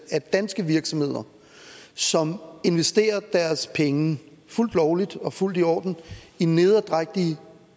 at danske virksomheder som investerer deres penge fuldt lovligt og fuldt i orden i nederdrægtige